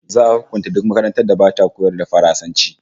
Za'a hukunta duk makarantar da bata koyar da Faransanci